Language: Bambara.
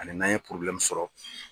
Ani n'an ye sɔrɔ